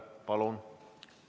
Palun!